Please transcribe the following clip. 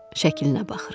Şəklinə baxıram.